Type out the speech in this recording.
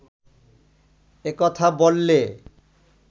এ কথা বললে